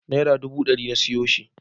Naira duba ɗari na siyo shi.